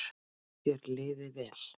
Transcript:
Þér liði vel.